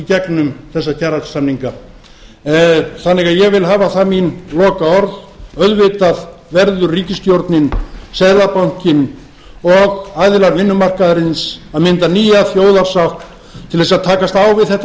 gegnum þessa kjarasamninga þannig að ég vil hafa það mín lokaorð auðvitað verður ríkisstjórnin seðlabankinn og aðilar vinnumarkaðarins að mynda nýja þjóðarsátt til þess að takast á við þetta